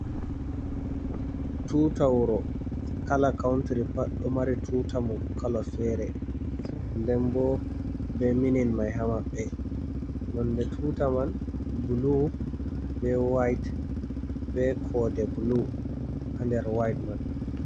Tunta wuro. Kala kauntiri pat nomari tuta mun kala fere. Nden bo ɗo minin man ha maɓɓe. Nonde tuta man blu ɓe wait. Be kode blu ha nder wait mai.